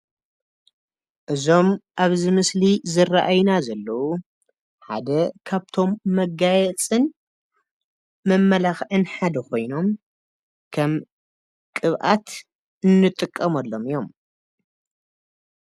እዞም ኣብዚ ምስሊ ዝራኣዩና ዘለው ሓደ ካብቶም መጋየፅን መመላኽዕን ሓደ ኾይኖም ከም ቅብኣት እንጥቀመሎም እዮም፡፡